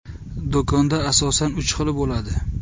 Do‘konda asosan uch xili bo‘ladi.